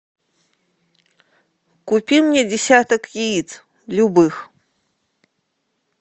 купи мне десяток яиц любых